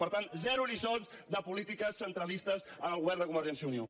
per tant zero lliçons de polítiques centralistes al govern de convergència i unió